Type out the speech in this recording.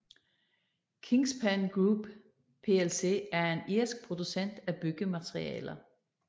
Kingspan Group plc er en irsk producent af byggematerialer